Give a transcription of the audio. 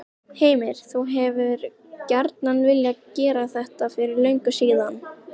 Heimir: Þú hefur gjarnan viljað gera þetta fyrir löngu síðan?